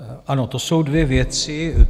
Ano, to jsou dvě věci.